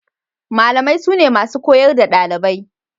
Malamai sune masu koyar da ɗalibai.